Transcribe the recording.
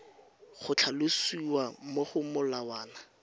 go tlhalosiwa mo go molawana